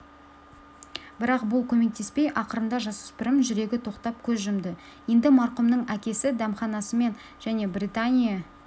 бірақ бұл көмектеспей ақырында жасөспірім жүрегі тоқтап көз жұмды енді марқұмның әкесі дәмханасымен және британия